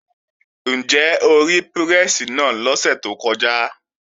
Ǹjẹ́ o rí pírẹ́sì náà lọ́sẹ̀ tó kọjá?